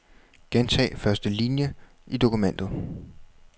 Gentag første linie i dokumentet.